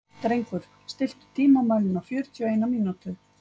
Drengur, stilltu tímamælinn á fjörutíu og eina mínútur.